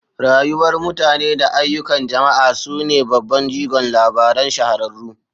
Rayuwar mutane da ayyukan jama'a su ne babban jigon labaran shahararru.